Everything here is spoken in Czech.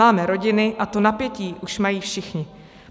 Máme rodiny a to napětí už mají všichni.